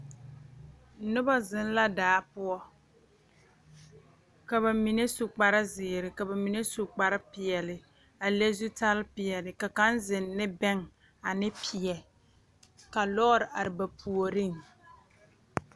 Noba zeŋ la daa poɔ ka ba mine su kparezeere ka ba mine su kparepeɛle a le zutalpeɛle ka kaŋ zeŋ ne bɛŋ ane peɛ ka lɔɔre are ba puoriŋ.